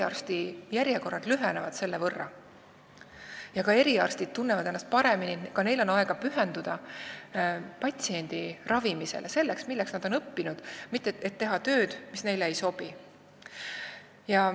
Selle võrra lühenevad eriarstijärjekorrad ja eriarstid tunnevad ennast paremini, sest neil on aega pühenduda patsiendi ravimisele, sellele, milleks nad on õppinud, ja nad ei pea tegema tööd, mis neile ei sobi.